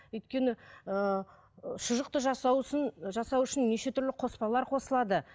өйткені ыыы шұжықты жасау жасау үшін неше түрлі қоспалар қосылады